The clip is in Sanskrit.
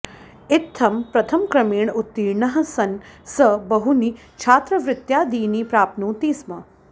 इत्थं प्रथमक्रमेण उत्तीर्णः सन् सः बहूनि छात्रवृत्त्यादीनि प्राप्नोति स्म